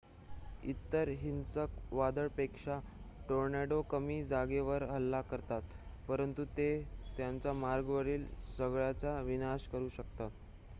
इतर हिंसक वादळपेक्षा टोर्नेडो कमी जागेवर हल्ला करतात परंतु ते त्यांच्या मार्गावरील सगळ्याचा विनाश करू शकतात